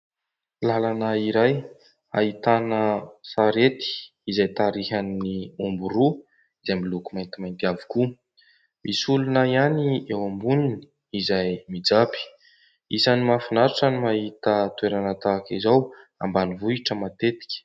Lalana iray ahitana sarety izay tarihan'ny omby roa, izay miloko maintimainty avokoa, misy olona ihany eo amboniny izay mijapy; isan'ny mahafinaritra ny mahita toerana tahaka izao; ambanivohitra matetika.